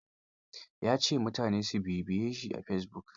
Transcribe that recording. Ya ce mutane su bibiyeshi a fesibuk.